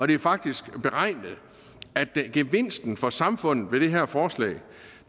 det er faktisk beregnet at gevinsten for samfundet ved det her forslag